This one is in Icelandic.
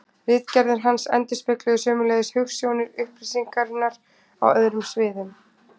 Ritgerðir hans endurspegluðu sömuleiðis hugsjónir upplýsingarinnar á öðrum sviðum.